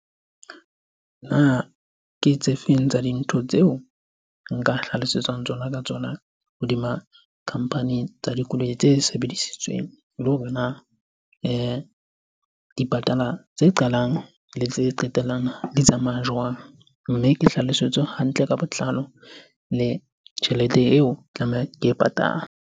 Na ke tse feng tsa dintho tseo nka hlalosetswang tsona ka tsona hodima company tsa dikoloi tse sebedisitsweng? Le hore na dipatala tse qalang le tse qetellang di tsamaya jwang? Mme ke hlalosetse hantle ka botlalo le tjhelete eo tlamehang ke e patale.